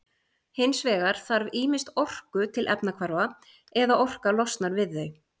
hins vegar þarf ýmist orku til efnahvarfa eða orka losnar við þau